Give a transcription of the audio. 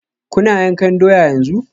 Kuna yankan doya yanzu?